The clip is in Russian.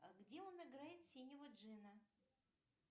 а где он играет синего джина